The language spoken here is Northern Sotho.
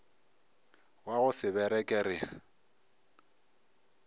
wa go se bereke re